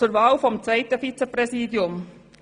Zur Wahl des zweiten Vizepräsidiums.